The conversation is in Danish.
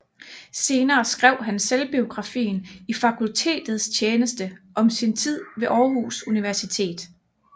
Senere skrev han selvbiografien I Fakultetets Tjeneste om sin tid ved Aarhus Universitet